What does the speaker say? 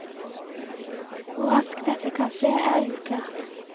Hvor raskt dette kan skje er uklart.